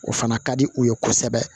O fana ka di u ye kosɛbɛ